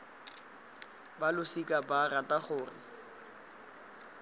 ba losika ba rata gore